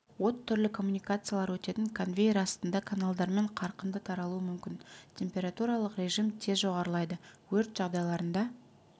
от түрлі коммуникациялар өтетін конвейер астындағы каналдармен қарқынды таралуы мүмкін температуралық режим тез жоғарылайды өрт жағдайларында